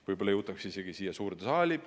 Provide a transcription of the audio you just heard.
Võib-olla jõutakse isegi siia suurde saali.